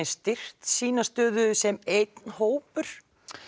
styrkt sína stöðu sem einn hópur